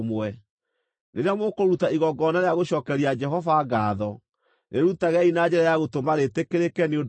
“Rĩrĩa mũkũruta igongona rĩa gũcookeria Jehova ngaatho, rĩrutagei na njĩra ya gũtũma rĩtĩkĩrĩke nĩ ũndũ wanyu.